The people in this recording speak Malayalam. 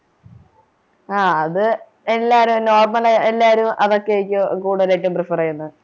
ആഹ് എല്ലാരും normal ആയ എല്ലാരും അതൊക്കെയായിരിക്കും കൂടുതലായിട്ടും prefer ചെയ്യുന്നത്